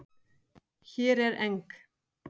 Hér er eng